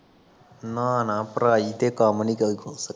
ਨਾ ਨਾ ਪੜਾਈ ਤੇ ਕੰਮ ਨੀ